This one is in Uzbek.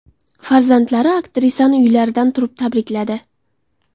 Farzandlari aktrisani uylaridan turib tabrikladi .